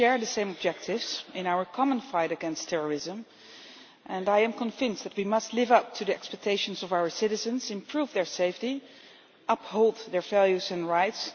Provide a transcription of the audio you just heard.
We share the same objectives in our common fight against terrorism, and I am convinced that we must live up to the expectations of our citizens, improve their safety and uphold their values and rights.